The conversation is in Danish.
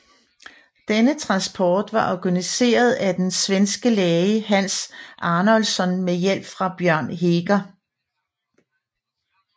Denne transport var organiseret af den svenske læge Hans Arnoldsson med hjælp fra Bjørn Heger